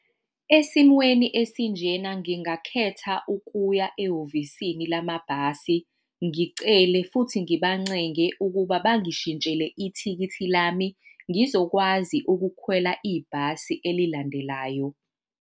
Esimweni esinjena ngingakhetha ukuya ehhovisini lamabhasi ngicele, futhi ngibancenge ukuba bangishintshela ithikithi lami ngizokwazi ukukhwela ibhasi elilandelayo.